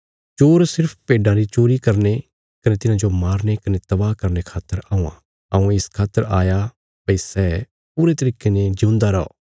चोर सिर्फ भेड्डां री चोरी करने कने तिन्हाजो मारने कने तबाह करने खातर औआं हऊँ इस खातर आया भई सै पूरे तरिके ने जिऊंदा रौ